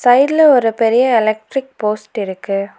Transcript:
சைட்ல ஒரு பெரிய எலக்ட்ரிக் போஸ்ட் இருக்கு.